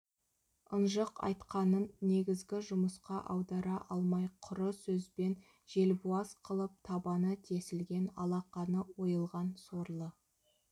ынжық айтқанын негізгі жұмысқа аудара алмай құры сөзбен желбуаз қылып табаны тесілген алақаны ойылған сорлы